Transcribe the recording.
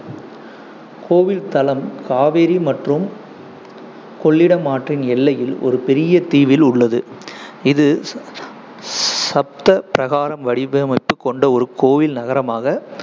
கோவில் தளம் காவிரி மற்றும் கொள்ளிடம் ஆற்றின் எல்லையில் ஒரு பெரிய தீவில் உள்ளது. இது சப்த பிரகாரம் வடிவமைப்பு கொண்ட ஒரு கோயில் நகரமாக